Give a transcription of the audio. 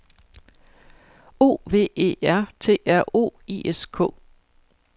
O V E R T R O I S K